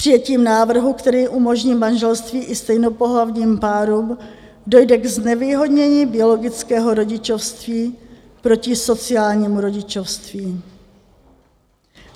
Přijetím návrhu, který umožní manželství i stejnopohlavním párům, dojde k znevýhodnění biologického rodičovství proti sociálnímu rodičovství.